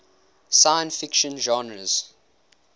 science fiction genres